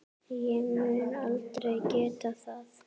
Ég mun aldrei geta það.